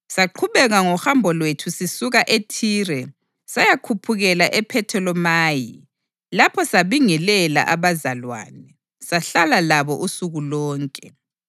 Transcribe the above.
Saqhubeka ngohambo lwethu sisuka eThire sayakhuphukela ePhetholemayi, lapho sabingelela abazalwane, sahlala labo usuku lonke.